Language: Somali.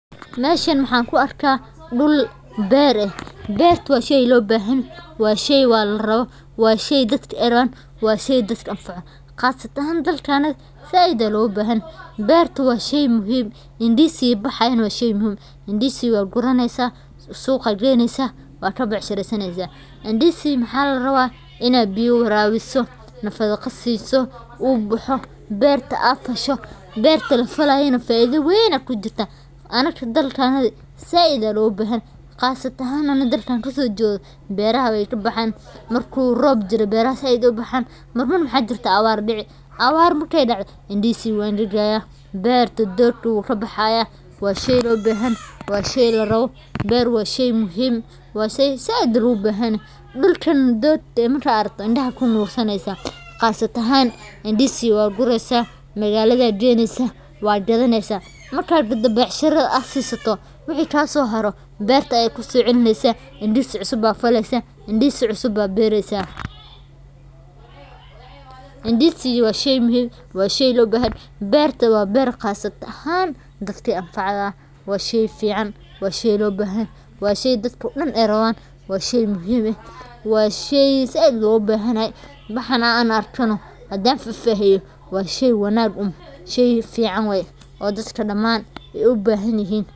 Meshan maxan ku arka dul beer leh beerta waa shey lo bahan yahay waa shey larawo waa shey dadka ee rawan waa shey dadka an faco qasatan said aya loga bahan yahay beerta waa shey muhiim ah indisiga baxayana waa shey muhiim ah indisiga waa gureysa suqa aya geynesa waa ka becshireysanesa, indisiga maxaa larawa in aa biyaha warabiso nafaqo siso u baxo beerta aad fasho, gasatan anaga dalkena aad aya loga bahan yahay aniga dalka an kaso jedo beeraha aya kabaxan marku rob jiro beerta aad ayey ubixi, marki awata dacdo indisiga we angagi waa shey lo bahan yoho, waa shey said loga bahan yoho dulkan dogta eh marka aad aragto indaha aya said ogu nursaneysa qasatan in disiga waad gureysa suqa aya geynesa marka aad gado beerta aya kuso celi nesa indisi cusub aya beresa, indisiga waa shey lo bahan yoho beerta waa berta gas ahan dadka an facdo, washey dadka daman ee u bahan yahanyihin.